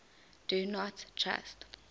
do not trust